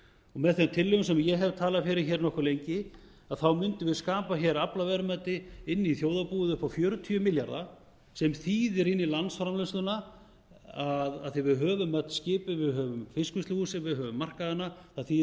með þeim tillögum sem ég hef talað fyrir hér nokkuð lengi mundum við skapa hér aflaverðmæti inn í þjóðarbúið upp á fjörutíu milljarða sem þýðir inn í landsframleiðsluna af því að við höfum öll skipin við höfum fiskvinnsluhúsin við höfum markaðina það þýðir